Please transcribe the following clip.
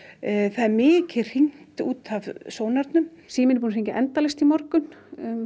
það er mikið hringt í út af sónarnum síminn er búinn að hringja endalaust í morgun